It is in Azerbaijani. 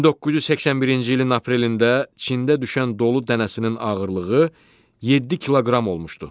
1981-ci ilin aprelində Çində düşən dolu dənəsinin ağırlığı 7 kiloqram olmuşdu.